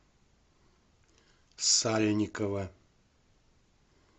сальникова